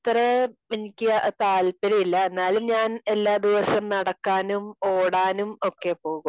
അത്ര എനിക്ക് താല്പര്യം ഇല്ല. എന്നാലും ഞാൻ എല്ലാ ദിവസം നടക്കാനും ഓടാനും ഒക്കെ പോകും